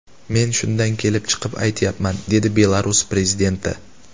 Men shundan kelib chiqib aytayapman”, dedi Belarus prezidenti.